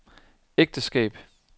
ægteskab